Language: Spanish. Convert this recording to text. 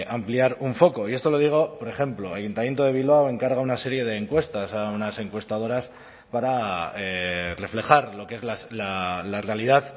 ampliar un foco y esto lo digo por ejemplo el ayuntamiento de bilbao encarga una serie de encuestas a unas encuestadoras para reflejar lo que es la realidad